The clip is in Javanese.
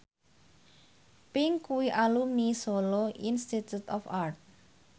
Pink kuwi alumni Solo Institute of Art